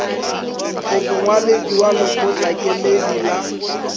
o mongwaledi wa lekgotlakemedi la